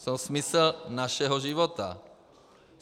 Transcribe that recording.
Jsou smysl našeho života.